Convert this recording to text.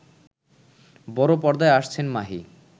বড় পর্দায় আসছেন মাহি